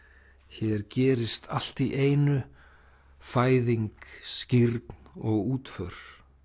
hér gerist allt í einu fæðing skírn og útför